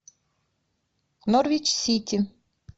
норвич сити